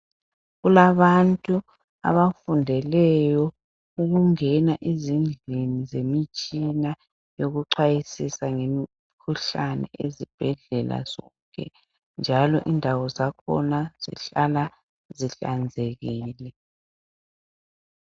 Kulabantu abafundele ukungena ezindlini zemitshina yokuchwayisisa ngemikhuhlane ezibhedlela zonke .Njalo indawo zakhona zihlala zihlanzekile.